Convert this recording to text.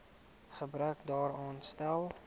gebrek daaraan stel